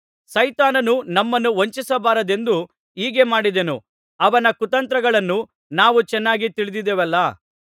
ಸೈತಾನನು ನಮ್ಮನ್ನು ವಂಚಿಸಬಾರದೆಂದು ಹೀಗೆ ಮಾಡಿದೆನು ಅವನ ಕುತಂತ್ರಗಳನ್ನು ನಾವು ಚೆನ್ನಾಗಿ ತಿಳಿದಿದ್ದೇವಲ್ಲಾ